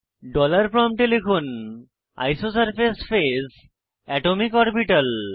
dollar প্রম্পটে লিখুন isosurface phase atomic orbital